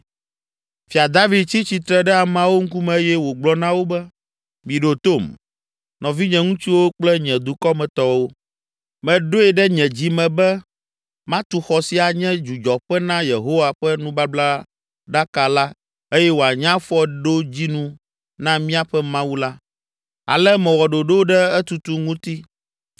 Fia David tsi tsitre ɖe ameawo ŋkume eye wògblɔ na wo be, “Miɖo tom, nɔvinye ŋutsuwo kple nye dukɔmetɔwo, meɖoe ɖe nye dzi me be matu xɔ si anye dzudzɔƒe na Yehowa ƒe nubablaɖaka la eye wòanye afɔɖodzinu na míaƒe Mawu la. Ale mewɔ ɖoɖo ɖe etutu ŋuti.